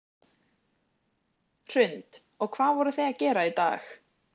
Hrund: Og hvað voruð þið að gera í dag?